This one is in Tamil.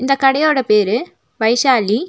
இந்த கடையோட பேரு வைஷாலி .